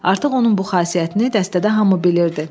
Artıq onun bu xasiyyətini dəstədə hamı bilirdi.